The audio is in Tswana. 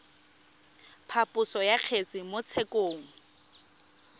phaposo ya kgetse mo tshekong